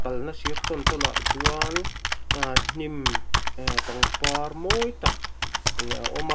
kalna sir tawn tawn ah chuan ahh hnim eeh pangpar mawi tak a awm a.